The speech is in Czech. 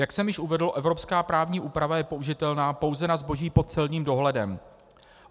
Jak jsem již uvedl, evropská právní úprava je použitelná pouze na zboží pod celním dohledem.